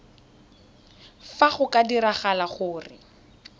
fa go ka diragala gore